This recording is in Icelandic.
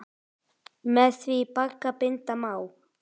Með því bagga binda má.